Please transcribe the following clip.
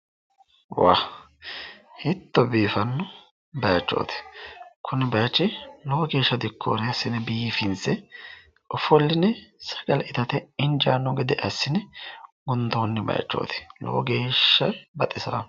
Hiito biiffano bayichooti, kuni bayichi lowo geesha dikoore asine biiffinse offoline sagale ittate injaano gede asine gundooni bayichoti lowo geesha baxisaawo